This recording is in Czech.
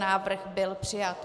Návrh byl přijat.